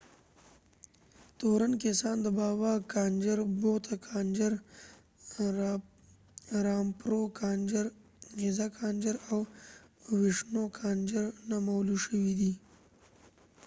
تورن کسان د بابا کانجر بوته کانجر رامپرو کانجر غزه کانجر او وشنو کانجر نومول شوي دي